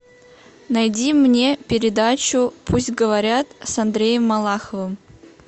найди мне передачу пусть говорят с андреем малаховым